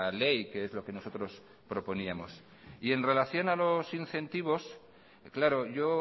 ley que es lo que nosotros proponíamos y en relación a los incentivos claro yo